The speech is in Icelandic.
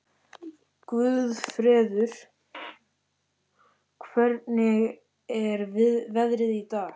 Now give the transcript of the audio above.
Guðfreður, hvernig er veðrið í dag?